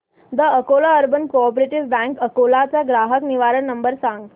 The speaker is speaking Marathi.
the Akola urban cooperative bank Akola चा ग्राहक निवारण नंबर सांग